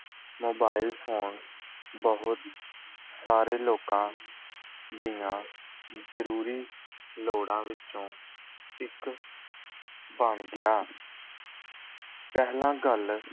Mobile phone ਬਹੁਤ ਸਾਰੇ ਲੋਕਾਂ ਦੀਆਂ ਜ਼ਰੂਰੀ ਲੋੜਾਂ ਵਿੱਚੋਂ ਇੱਕ ਬਣ ਗਿਆ ਪਹਿਲਾਂ ਗੱਲ